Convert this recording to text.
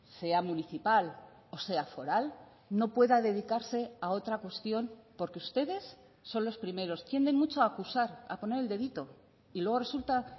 sea municipal o sea foral no pueda dedicarse a otra cuestión porque ustedes son los primeros tienden mucho a acusar a poner el dedito y luego resulta